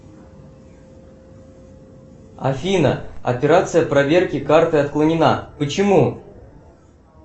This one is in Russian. афина операция проверки карты отклонена почему